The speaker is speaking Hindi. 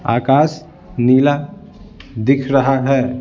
आकाश नीला दिख रहा है।